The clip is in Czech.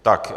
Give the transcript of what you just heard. Tak.